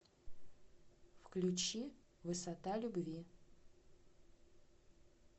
включи высота любви